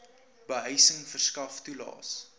behuising verskaf toelaes